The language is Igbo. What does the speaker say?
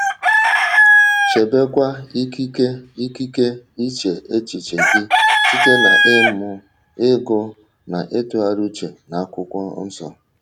Chebekwa ikike ikike iche echiche gị site n’ịmụ, ịgụ na ịtụgharị uche n’Akwụkwọ Nsọ...